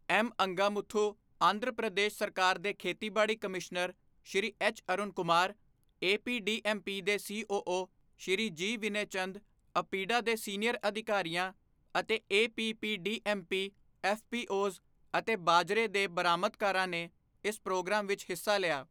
M Angamuthu, Andhra Pradesh ਸਰਕਾਰ ਦੇ ਖੇਤੀਬਾੜੀ commissioner Shri H Arun Kumar, APDMP ਦੇ COO, Shri G Vinaychand, APEDA ਦੇ ਸੀਨੀਅਰ ਅਧਿਕਾਰੀਆਂ ਅਤੇ ਏਪੀਪੀਡੀਐਮਪੀ, ਐਫਪੀਓਜ਼ ਅਤੇ ਬਾਜਰੇ ਦੇ ਬਰਾਮਦਕਾਰਾਂ ਨੇ ਇਸ ਪ੍ਰੋਗਰਾਮ ਵਿਚ ਹਿੱਸਾ ਲਿਆ।